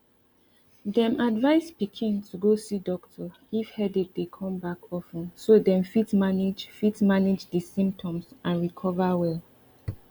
dem advise pikin to go see doctor if headache dey come back of ten so dem fit manage fit manage di symptoms and recover well